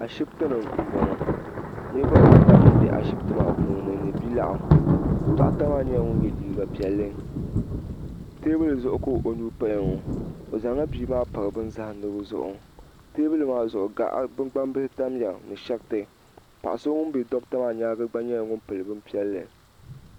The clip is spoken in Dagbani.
Asihibiti ni mbɔŋɔ niriba ata mbɛ ashibiti maa puuni ni bia lɛɣu dɔɣita maa nyɛla ŋuni ye liiga piɛlli tɛɛbuli zuɣu ka o nuu paya ŋɔ o zaŋ la bia maa pari bini zahindigu zuɣu tɛɛbuli maa zuɣu gaɣa ni gbaŋ bihi tamiya ni shɛriti paɣa so ŋuni bɛ dɔkta maa yɛanga gba nyɛla ŋuni pili bini piɛlli.